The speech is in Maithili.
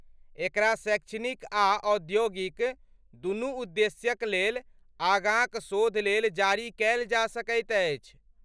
एकरा शैक्षणिक आ औद्योगिक, दुनू उद्देश्यक लेल, आगाँक शोध लेल जारी कयल जा सकैत अछि।